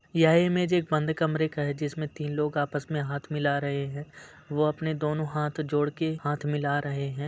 यह इमेज एक बंद कमरे का है जिसमें तीन लोग आपस में हाथ मिला रहे है वो अपने दोनों हाथ जोड़ के हाथ मिला रहे हैं।